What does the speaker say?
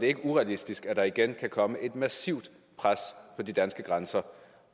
er urealistisk at der igen kan komme et massivt pres på de danske grænser